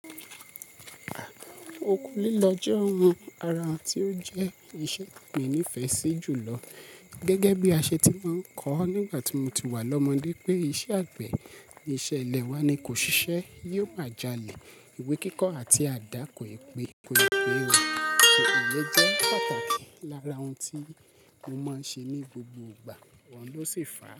Òkun lílọ jẹ́ ohun ara n tí ó jẹ́ iṣẹ́ àgbẹ̀ ní ìfẹ́ sí jùlọ. Gẹ́gẹ́ bí a ṣe ti máa ń kọ nígbà tí mo ti wà lọ́mọdé pé iṣẹ́ àgbẹ̀, iṣẹ́ ilẹ̀ wa ni kò ṣiṣẹ́, yóò máa jalè, ìwé kíkọ àti àdá koi pe koi pe o. Ṣùgbọ́n ilẹ̀ jẹ́ pàtàkì lára ohun tí mo máa ń ṣe ní gbogbo ìgbà, wọn ló sì fà á.